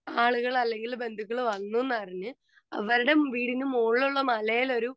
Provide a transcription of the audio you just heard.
speaker 2 ആളുകൾ അല്ലങ്കിൽ ബന്ധുക്കള് വന്നൂന്ന് അറിഞ്ഞ് അവരുടെ വീടിനു മോളിലുള്ള മലയിൽ ഒരു